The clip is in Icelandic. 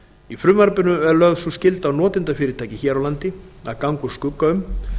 í frumvarpinu er lögð sú skylda á notendafyrirtæki hér á landi að ganga úr skugga um